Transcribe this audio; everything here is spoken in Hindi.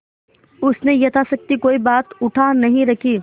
उसने यथाशक्ति कोई बात उठा नहीं रखी